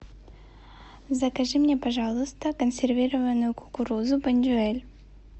закажи мне пожалуйста консервированную кукурузу бондюэль